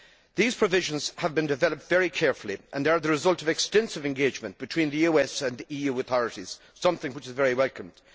These provisions have been developed very carefully and are the result of extensive cooperation between the US and the EU authorities, something which is very welcome.